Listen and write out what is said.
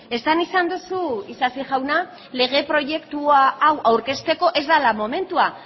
esan izan duzu isasi jauna lege proiektu hau aurkezteko ez dela momentua